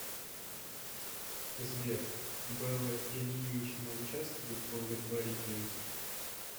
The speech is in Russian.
сбер белла ильинична учавствует в благотворительности